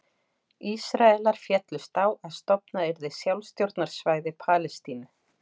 Ísraelar féllust á að stofnað yrði sjálfstjórnarsvæði Palestínu.